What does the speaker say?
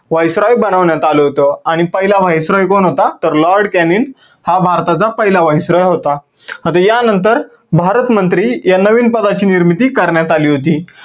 voice roy बनवण्यात आलं होत आणि पहिला voice roy कोण होता तर Lord Cannin हा भारताचा पहिला voice roy होता. आता या नंतर भारत मंत्री या नवीन पदाची निर्मिती करण्यात आली होती.